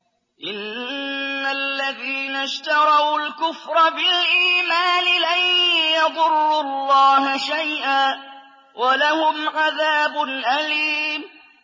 إِنَّ الَّذِينَ اشْتَرَوُا الْكُفْرَ بِالْإِيمَانِ لَن يَضُرُّوا اللَّهَ شَيْئًا وَلَهُمْ عَذَابٌ أَلِيمٌ